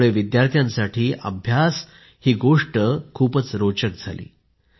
यामुळे विद्यार्थ्यांसाठी अभ्यास खूप रोचक झाला